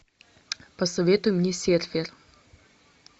посоветуй мне серфер